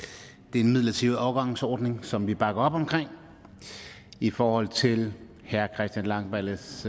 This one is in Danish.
midlertidig overgangsordning som vi bakker op om i forhold til herre christian langballes